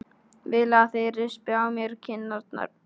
Vil að þeir rispi á mér kinnarnar.